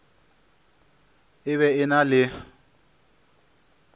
e be e na le